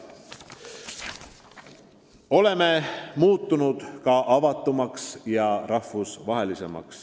Oleme muutunud avatumaks ja rahvusvahelisemaks.